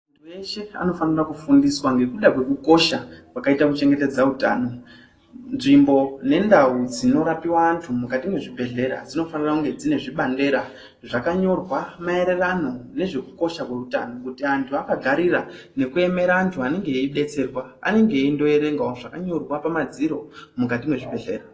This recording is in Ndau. Muntu weshe anofanira kufundiswa ngekuda kweku kosha kwakaita ku chengetedza utano nzvimbo ne ndau dzino rapiwa antu mukati mwe zvibhedhleya dzinofanira kunge dzine zvibandera zvaka nyorwa maererano nezve kukosha kwe utano kuti antu aka garira neku emera antu anenge eyi detserwa anenge eindo erengawo zvaka nyorwa pa madziro mukati mwe zvibhedhlera.